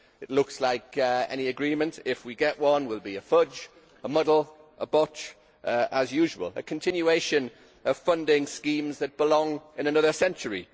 It looks like any agreement, if we get one, will be a fudge, a muddle, a botch as usual a continuation of funding schemes that belong in another century.